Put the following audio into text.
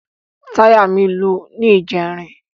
Táyà mí lu ní ìjẹrin.